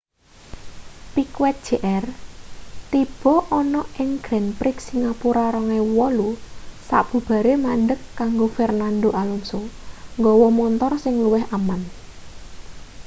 piquet jr tiba ana ing grand prix singapura 2008 sabubare mandheg kanggo fernando alonso nggawa montor sing luwih aman